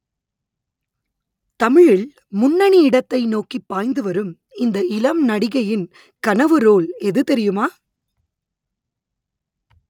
தமிழில் முன்னணி இடத்தை நோக்கி பாய்ந்து வரும் இந்த இளம் நடிகையின் கனவு ரோல் எது தெரியுமா